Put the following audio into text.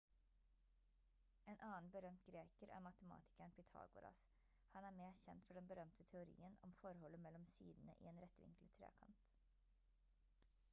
en annen berømt greker er matematikeren pytagoras han er mest kjent for den berømte teorien om forholdet mellom sidene i en rettvinklet trekant